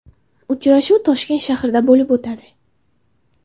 Uchrashuv Toshkent shahrida bo‘lib o‘tadi.